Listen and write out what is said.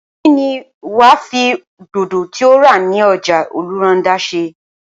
kí ni wà á fi dodo tí o rà ní ọjà ọlọ́rundá ṣe?